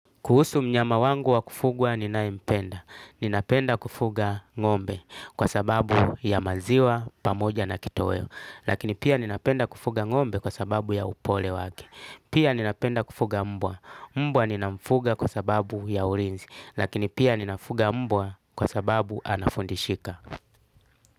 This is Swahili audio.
Kuhusu mnyama wangu wa kufugwa ninaye mpenda. Ninapenda kufuga ngombe kwa sababu ya maziwa, pamoja na kitoweo. Lakini pia ninapenda kufuga ngombe kwa sababu ya upole wake. Pia ninapenda kufuga mbwa. Mbwa ninamfuga kwa sababu ya ulinzi. Lakini pia ninafuga mbwa kwa sababu anafundishika.